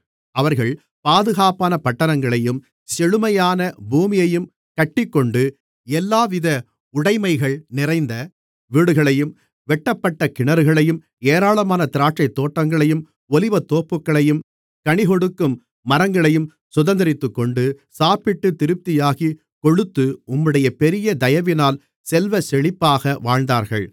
அவர்கள் பாதுகாப்பான பட்டணங்களையும் செழுமையான பூமியையும் கட்டிக்கொண்டு எல்லாவித உடைமைகள் நிறைந்த வீடுகளையும் வெட்டப்பட்ட கிணறுகளையும் ஏராளமான திராட்சைத்தோட்டங்களையும் ஒலிவத்தோப்புகளையும் கனிகொடுக்கும் மரங்களையும் சுதந்தரித்துக்கொண்டு சாப்பிட்டுத் திருப்தியாகிக் கொழுத்து உம்முடைய பெரிய தயவினால் செல்வச்செழிப்பாக வாழ்ந்தார்கள்